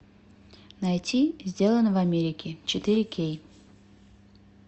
найти сделано в америке четыре кей